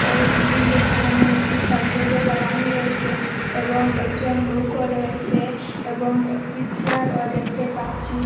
এই বিল্ডিং য়ের সামোনে একটি সাইনবোর্ড ও লাগানো রয়েসে এবং একজন লোকও রয়েসে এবং একটি চেয়ার ও দেখতে পাচ্ছি।